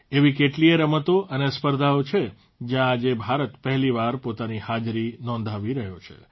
એવી કેટલીયે રમતો અને સ્પર્ધાઓ છે જયાં આજે ભારત પહેલીવાર પોતાની હાજરી નોંધાવી રહ્યો છે